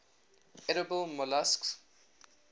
edible molluscs